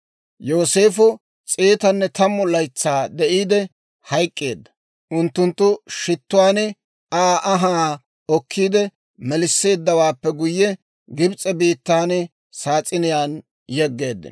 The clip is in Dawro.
Yooseefo s'eetanne tammu laytsaa de'iide hayk'k'eedda; unttunttu shittuwaan Aa anhaa okkiide melisseeddawaappe guyye, Gibs'e biittaan saas'iniyaan yeggeeddino.